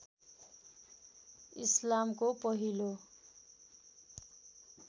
इस्लामको पहिलो